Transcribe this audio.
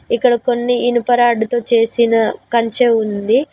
ఇక్కడ కొన్ని ఇనుప రాడ్డుతో చేసిన కంచె ఉంది.